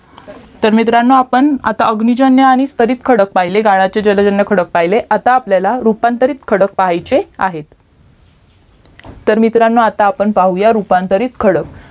तर मित्रांनो आपण आता अग्निजन्य आणि स्थरीत खडक पाहिलेत गाळाचे जलजन्य खडक पहिले आता आपल्याला रूपांतरित खडक पहायचे आहेत तर मित्रांनो आता पाहूया रूपांतरित खडक